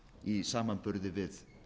í samanburði við